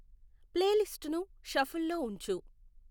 playlist ను షఫుల్లో ఉంచు